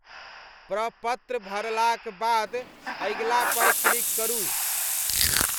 प्रपत्र भरलाक बाद अगिलापर क्लिक करू।